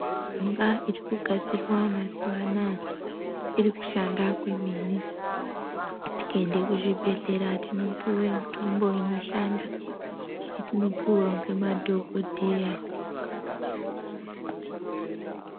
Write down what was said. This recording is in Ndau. Mishonga iri kugadzirwa mazuva anaya iri kushanda kwemene. Tikaende kuzvibhedhlera tinopuve mitombo inoshanda yetinopuva ngemadhogodheya.